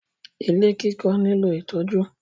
Ilé kíkọ́ nílò ìtọ́jú.